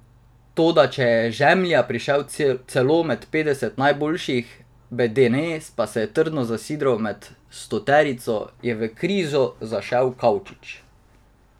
Toda če je Žemlja prišel celo med petdeset najboljših, Bedene pa se je trdno zasidral med stoterico, je v krizo zašel Kavčič.